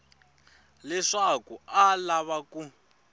leswaku a a lava ku